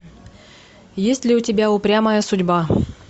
есть ли у тебя упрямая судьба